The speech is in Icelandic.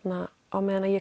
á meðan